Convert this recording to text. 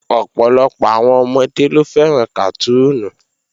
Ọ̀pọ̀lọpọ̀ àwọn ọmọdé ló fẹ́ràn kàtúùnù